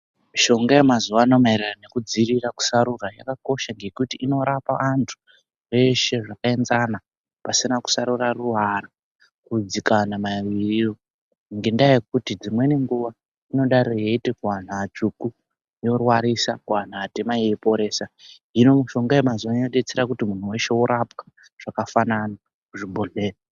Mishonga yemazuwa ano maererano nekudziirira kusarura yakakosha ngekuti inorapa anthu eshe zvakaenzana pasina kusarura ruwara bvudzi kana maririro ngekuti dzimweni nguwa inodai yeiti kuanthu atsvuku yorwarisa kuanthu atema yeiporesa, hino mishonga yemazuwa anaa yodetsera kuti munthu weshe orapwa zvakafanana kuzvibhodhleya.